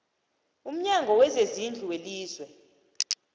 umnyango wezezindlu welizwe